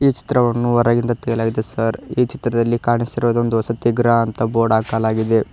ಈ ಚಿತ್ರವನ್ನು ಹೊರಗಿಂದ ತೆಗೆಯಲಾಗಿದೆ ಸರ್ ಈ ಚಿತ್ರದಲ್ಲಿ ಕಾಣಿಸಿರುವುದು ಒಂದು ವಸತಿ ಗೃಹ ಅಂತ ಬೋರ್ಡ್ ಹಾಕಲಾಗಿದೆ.